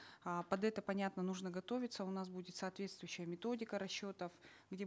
а под это понятно нужно готовиться у нас будет соответствующая методика расчетов где